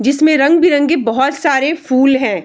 जिसमें रंग-बिरंगी बहुत सारे फुल हैं।